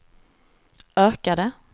ökade